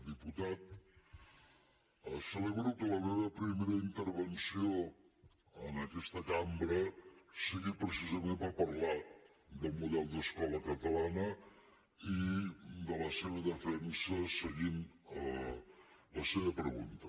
diputat celebro que la meva primera intervenció en aquesta cambra sigui precisament per parlar del model d’escola catalana i de la seva defensa seguint la seva pregunta